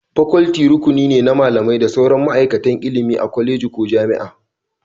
Faculty rukuni ne na malamai da sauran ma'aikatan ilimi a kwaleji ko jami'a